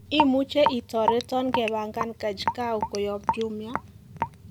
imuje itoreton kepangan kajkau kuyob jumia